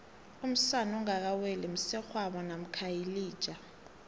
umsana ongaka weli msegwabo mamkha yilija